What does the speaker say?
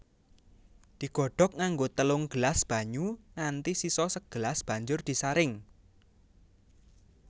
Digodhog nganggo telung gelas banyu nganti sisa sagelas banjur disaring